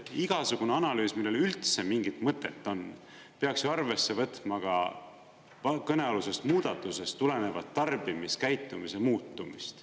Igasugune analüüs, millel üldse mingit mõtet on, peaks ju arvesse võtma ka kõnealusest muudatusest tulenevat tarbimiskäitumise muutumist.